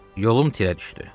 Yolum tirə düşdü.